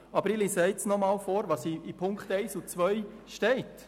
Aber ich lese jetzt noch einmal vor, was unter Ziffer 1 und 2 geschrieben steht.